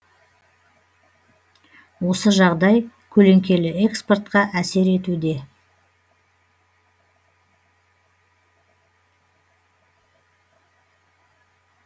осы жағдай көлеңкелі экспортқа әсер етуде